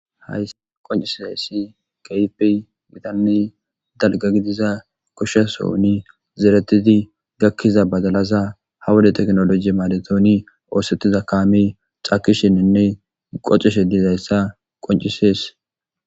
Haysi qoncisizaysi keehipe gitane dalga gidida gosha sohoni dolizi gakiza badalaza ha wode tekinoloje maadetidi oosetida kaame cakishinine qocishe dizaysa qoncises.